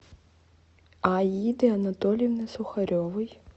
аиды анатольевны сухаревой